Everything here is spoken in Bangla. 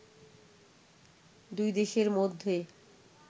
দুই দেশের মধ্যে